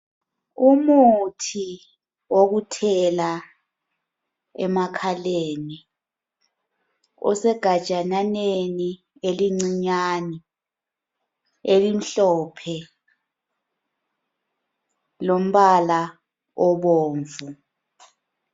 Umuthi wokuthela emakhaleni osegajananeni elincinyane elimhlophe lombala obomvu.